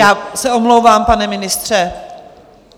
Já se omlouvám, pane ministře.